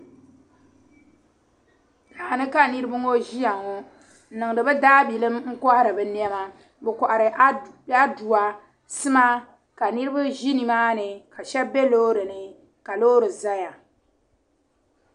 Daani ka niribi ŋɔ ziyaŋɔ n niŋdi bi daabilim nkohiri. binema bikohiri aduwa. sima ka nirib zi nimaani. kashab. be loorini, ka loori zaya.